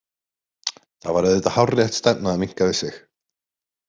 Það var auðvitað hárrétt stefna að minnka við sig.